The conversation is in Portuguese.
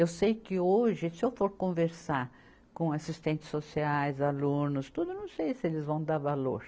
Eu sei que hoje, se eu for conversar com assistentes sociais, alunos, tudo, eu não sei se eles vão dar valor.